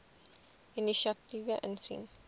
inisiatiewe insien